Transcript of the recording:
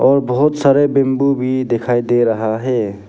और बहुत सारे बम्बू भी दिखाई दे रहा है।